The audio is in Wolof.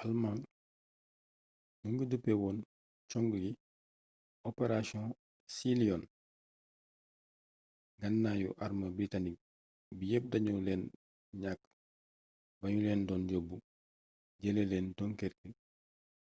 alëmaañ mu ngi duppee woon cong gi operation sealion nganaayu arme biritanik bi yepp dañu leena ñàkk baa nu leen doon yóbbu jëlee leen dunkirk